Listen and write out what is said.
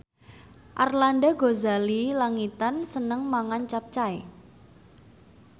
Arlanda Ghazali Langitan seneng mangan capcay